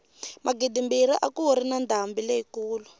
magidimbirhi a kuri na ndhambi leyi kulu